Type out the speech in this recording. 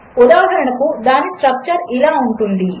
ఉదాహరణకు దానిస్ట్రక్చర్ఇలాఉంటుంది